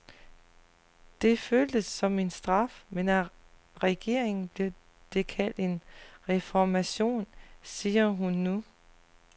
Det føltes som en straf, men af regeringen blev det kaldt en reformation, siger hun nu.